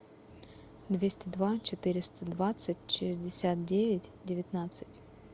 двести два четыреста двадцать шестьдесят девять девятнадцать